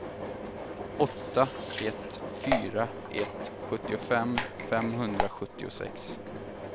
åtta ett fyra ett sjuttiofem femhundrasjuttiosex